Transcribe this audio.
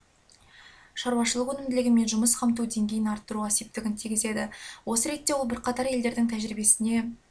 шаруашылығы өнімділігі мен жұмыс қамту деңгейін арттыруға септігін тигізеді осы ретте ол бірқатар елдердің тәжірибесіне